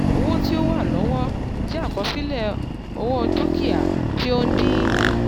owó ti o wa lọwọ jẹ àkọsílẹ owó dukia ti o ń dín